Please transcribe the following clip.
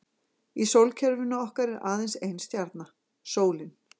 Í sólkerfinu okkar er aðeins ein stjarna, sólin.